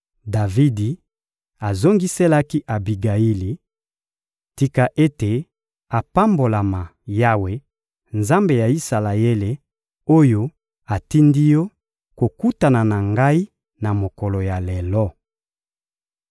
Davidi azongiselaki Abigayili: — Tika ete apambolama, Yawe, Nzambe ya Isalaele, oyo atindi yo kokutana na ngai na mokolo ya lelo!